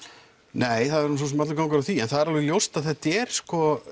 nei það er nú svo sem allur gangur á því en það er alveg ljóst að þetta er sko